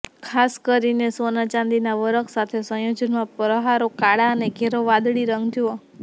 ખાસ કરીને ચાંદીના વરખ સાથે સંયોજનમાં પ્રહારો કાળા અને ઘેરો વાદળી રંગો જુઓ